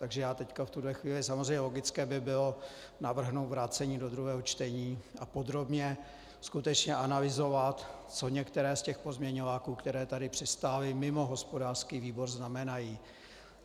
Takže já teď v tuto chvíli - samozřejmě logické by bylo navrhnout vrácení do druhého čtení a podrobně skutečně analyzovat, co některé z těch pozměňováků, které tady přistály mimo hospodářský výbor, znamenají.